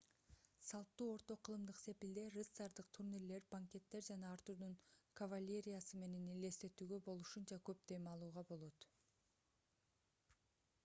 салттуу орто кылымдык сепилде рыцардык турнирлер банкеттер жана артурдун кавалериясы менен элестетүүгө болушунча көп дем алууга болот